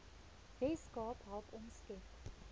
weskaap help omskep